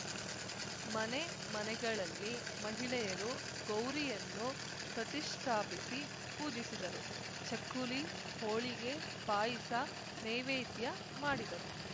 ಮನೆ ಮನೆಗಳಲ್ಲಿ ಮಹಿಳೆಯರು ಗೌರಿಯನ್ನು ಪ್ರತಿಷ್ಠಾಪಿಸಿ ಪೂಜಿಸಿದರು ಚಕ್ಕುಲಿ ಹೋಳಿಗೆ ಪಾಯಿಸ ನೇವೇದ್ಯ ಮಾಡಿದರು